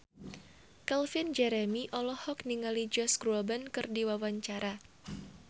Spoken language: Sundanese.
Calvin Jeremy olohok ningali Josh Groban keur diwawancara